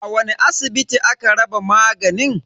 A wani asibiti aka raba maganin?